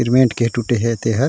cement के टूटे हे ते हर --